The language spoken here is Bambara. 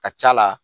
Ka c'a la